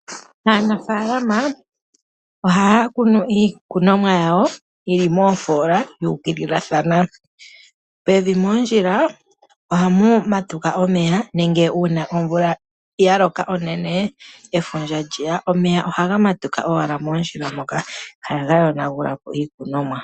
Aanafalama ohaya kunu iikunomwa yawo yili moofola yu ukililathana, pevi moondjila ohamu matuka omeya nenge uuna omvula ya loka onene efundja lyeya omeya ohaga matuka owala moondjila moka ihaga yonagula po iikunomwa.